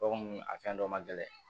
Ko nun a fɛn dɔ man gɛlɛn